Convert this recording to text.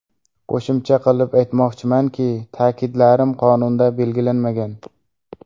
Qo‘shimcha qilib aytmoqchimanki, ta’kidlarim qonunda belgilanmagan.